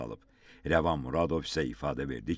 Rəvan Muradov isə ifadə verdi ki,